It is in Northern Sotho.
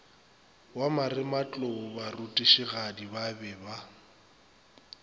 wa marematlou barutišigadi ba be